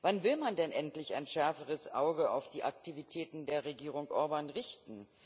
Wann will man denn endlich ein schärferes Auge auf die Aktivitäten der Regierung Orbán richten?